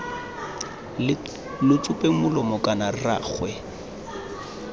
lo tsupeng molomo kana rraagwe